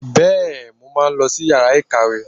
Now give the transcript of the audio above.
Bẹ́ẹ̀, mo máa lọ sí yàrá ìkàwé